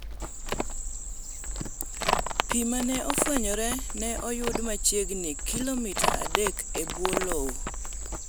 Pii mane ofwenyno ne oyud machiegini kilomita adek e bwo lowo.